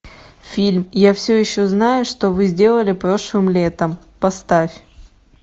фильм я все еще знаю что вы сделали прошлым летом поставь